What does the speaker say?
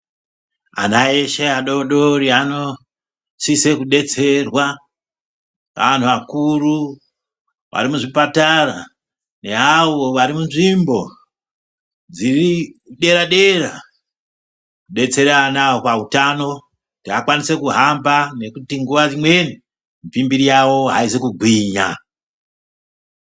Ana eshe adodori anosiso kudetserwa neanhu akuru arimuzvipatara neavo vari munzvimbo dziri dera dera detsera ana awa pautano kuti akwanise kuhamba ngekuti nguwa imweni mupimbiri yawo aizi kugwinya.